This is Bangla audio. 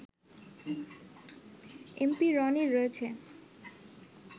এমপি রনির রয়েছে